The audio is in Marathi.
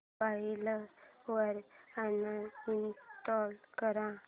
मोबाईल वरून अनइंस्टॉल कर